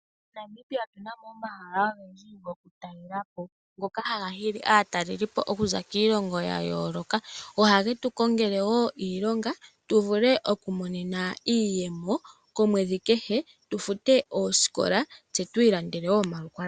MoNamibia otu na mo omahala ogendji gokutalela po ngoka haga hili aataleliipo oku za kiilongo ya yooloka. Ohage tu kongele woo iilonga tu vule okwiimonena iiyemo komwedhi kehe tu fute oositola tse tu ilandele woo iipumbiwa yetu.